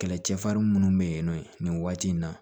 Kɛlɛcɛ farin munnu be yen nɔ nin waati in na